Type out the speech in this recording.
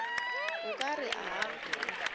o ka re a a